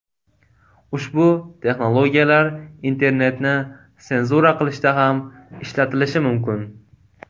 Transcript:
Ushbu texnologiyalar internetni senzura qilishda ham ishlatilishi mumkin.